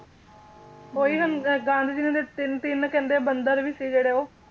ਉਹੀ ਹੁਣ ਗਾਂਧੀ ਜੀ ਦੇ ਤਿੰਨ ਤਿੰਨ ਕਹਿੰਦੇ ਬੰਦਰ ਸੀ ਜਿਹੜੇ ਉਹ